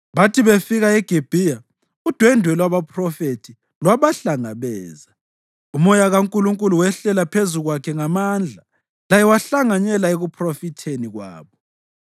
Bathi befika eGibhiya, udwendwe lwabaphrofethi lwabahlangabeza; uMoya kaNkulunkulu wehlela phezu kwakhe ngamandla, laye wahlanganyela ekuphrofitheni kwabo.